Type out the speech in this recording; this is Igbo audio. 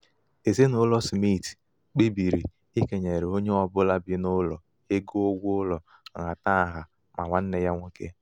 ezinaụlọ smit kpebiri ikenyere onye ọ bụla bị n'ụlọ ego ụgwọ ụlọ nhatanha ma nwanne ya nwoke.